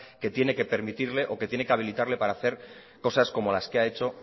que tiene que permitirle o que tiene que habilitarle para hacer cosas como las que ha hecho